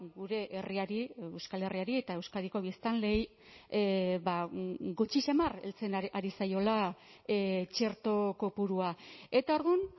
gure herriari euskal herriari eta euskadiko biztanleei gutxi samar heltzen ari zaiola txerto kopurua eta orduan